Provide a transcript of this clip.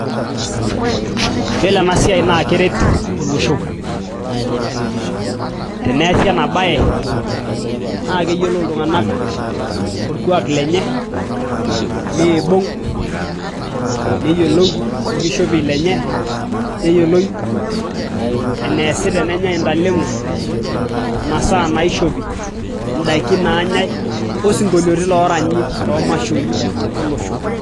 Yiolo ena siai naa keret olosho teneesi ena baye naa keyiolou iltung'anak orkuak lenye neibung neyiolou orkishopie lenye neyioloi eneesi tenenyai intaleng'o masaa naishopi intaiki naanyai osinkolioti looranyi toomashoi olosho.